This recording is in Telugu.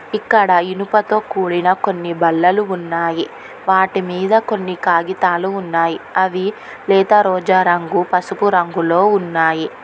ఇక్కడ ఇనుపతో కూడిన కొన్ని బల్లలు ఉన్నాయి వాటి మీద కొన్ని కాగితాలు ఉన్నాయ్ అవి లేత రోజా రంగు పసుపు రంగులో ఉన్నాయి.